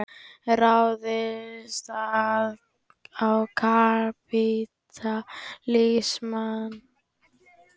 Ráðist á kapítalismann.